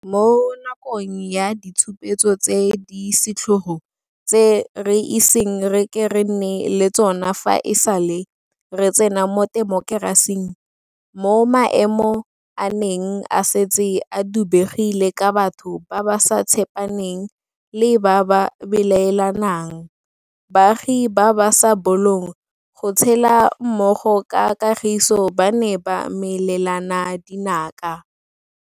Mo nakong ya ditshupetso tse di setlhogo tse re iseng re ke re nne le tsona fa e sale re tsena mo temokerasing, mo maemo a neng a setse a dubegile ka batho ba ba sa tshepaneng le ba ba belaelanang, baagi ba ba sa bolong go tshela mmogo ka kagiso ba ne ba melelana dinaka.